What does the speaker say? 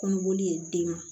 Kɔnɔboli ye den na